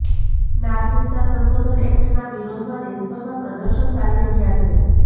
નાગરિકતા સંશોધન એક્ટના વિરોધમાં દેશભરમાં પ્રદર્શન ચાલી રહ્યા છે